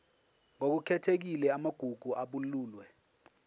ngokukhethekile amagugu abalulwe